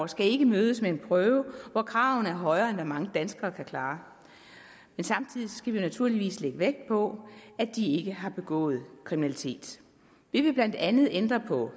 skal ikke mødes med en prøve hvor kravene er højere end hvad mange danskere kan klare samtidig skal vi naturligvis lægge vægt på at de ikke har begået kriminalitet vi vil blandt andet ændre på